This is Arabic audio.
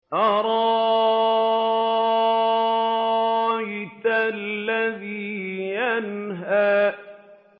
أَرَأَيْتَ الَّذِي يَنْهَىٰ